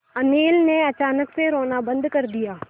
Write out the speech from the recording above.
अनिल ने अचानक से रोना बंद कर दिया